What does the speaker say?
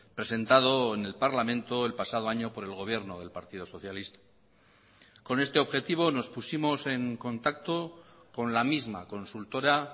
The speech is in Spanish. presentado en el parlamento el pasado año por el gobierno del partido socialista con este objetivo nos pusimos en contacto con la misma consultora